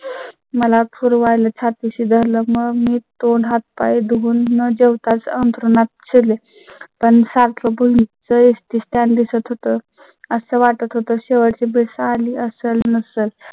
मला पूर्वा ला छाती शी धरलं मग मी तोंड, हाथ, पाय धुवुन न जेवता अंथरुणात शिरले पण सारखे पूल चे STstand दिसत होतं असं वाटत होतं. शेवटची भेट आली असेल नसेल